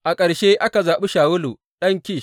A ƙarshe aka zaɓi Shawulu ɗan Kish.